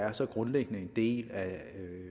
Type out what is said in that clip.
er så grundlæggende en del af